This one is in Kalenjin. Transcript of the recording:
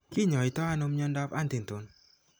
Ki ny'aayto ano mnyandoap Huntington?